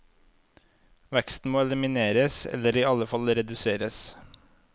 Veksten må elimineres eller i alle fall reduseres.